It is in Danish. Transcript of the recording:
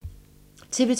TV 2